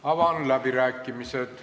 Avan läbirääkimised.